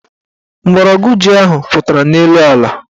Mgbọrọgwụ ji ahụ pụtara n' elu ala.